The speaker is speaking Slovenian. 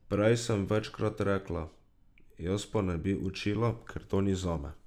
Prej sem večkrat rekla, jaz pa ne bi učila, ker to ni zame.